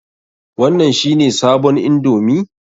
Wannan shi ne sabon indomi?